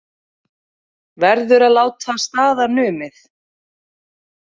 Verður að láta staðar numið